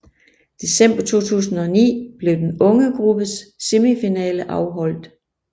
December 2009 blev den unge gruppes semifinale afholdt